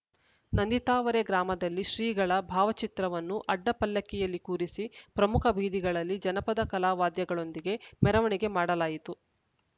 ನಂದಿತಾವರೆ ಗ್ರಾಮದಲ್ಲಿ ಶ್ರೀಗಳ ಭಾವಚಿತ್ರವನ್ನು ಅಡ್ಡಪಲ್ಲಕ್ಕಿಯಲ್ಲಿ ಕೂರಿಸಿ ಪ್ರಮುಖ ಬೀದಿಗಳಲ್ಲಿ ಜನಪದ ಕಲಾ ವಾದ್ಯಗಳೊಂದಿಗೆ ಮೆರವಣಿಗೆ ಮಾಡಲಾಯಿತು